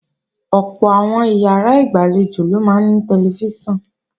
Ọ̀pọ̀ àwọn ìyàrá ìgbàlejò ló máa ní tẹlifíṣàn